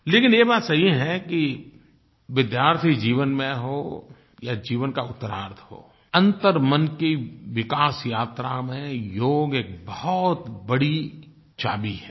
लेकिन ये बात सही है कि विद्यार्थी जीवन में हो या जीवन का उत्तरार्द्ध हो अंतर्मन की विकास यात्रा में योग एक बहुत बड़ी चाभी है